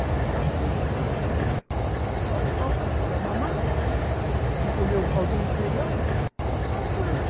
Eu pegava a minha irmã, saía, só levava para mamar ou para comer um caldinho de feijão e ficava com ela.